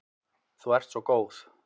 Þú ert svo góð.